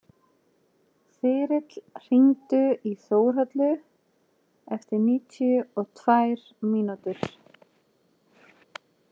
Þyrill, hringdu í Þórhalla eftir níutíu og tvær mínútur.